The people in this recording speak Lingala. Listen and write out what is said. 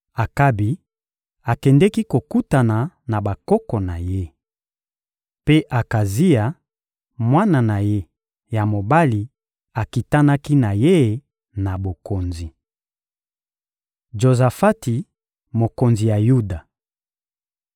Akabi akendeki kokutana na bakoko na ye. Mpe Akazia, mwana na ye ya mobali, akitanaki na ye na bokonzi. Jozafati mokonzi ya Yuda (2Ma 20.31–21.1)